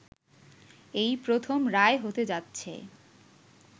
এই প্রথম রায় হতে যাচ্ছে